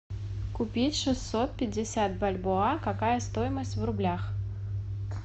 купить шестьсот пятьдесят бальбоа какая стоимость в рублях